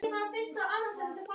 Og þér ekki síður